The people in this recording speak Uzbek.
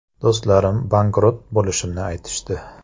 Do‘stlarim bankrot bo‘lishimni aytishdi.